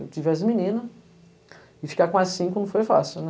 Eu tive as meninas, e ficar com as cinco não foi fácil, né?